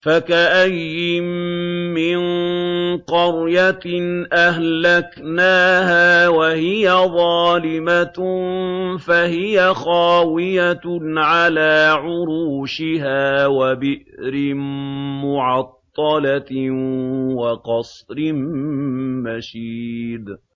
فَكَأَيِّن مِّن قَرْيَةٍ أَهْلَكْنَاهَا وَهِيَ ظَالِمَةٌ فَهِيَ خَاوِيَةٌ عَلَىٰ عُرُوشِهَا وَبِئْرٍ مُّعَطَّلَةٍ وَقَصْرٍ مَّشِيدٍ